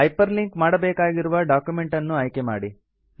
hyper link ಮಾಡಬೇಕಾಗಿರುವ document ಅನ್ನು ಆಯ್ಕೆಮಾಡಿ